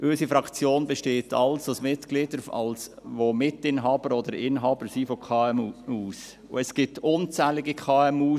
Unsere Fraktion besteht aus Mitgliedern, welche alle Mitinhaber oder Inhaber von kleinen und mittleren Unternehmen (KMU) sind.